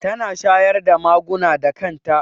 Tana shayar da maguna da kan ta